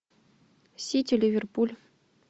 сити ливерпуль